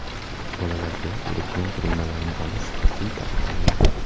Bolalarga elektron qurilmalarni olish qat’iy taqiqlangan.